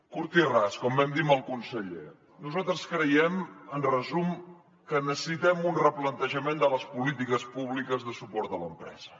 curt i ras com vam dir amb el conseller nosaltres creiem en resum que necessitem un replantejament de les polítiques públiques de suport a l’empresa